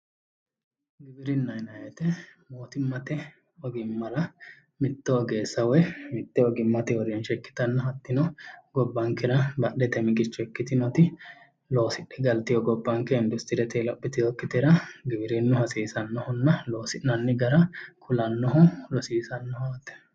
Giwirinna yineemmo weete mootimmate ogimmara mitto ogeessa woyi ohimma ikkitanna gobbankera badhete miqicho ikitinotti loosidhe galitino gobankera giwirinnu kulannoho rosiissannoho yaate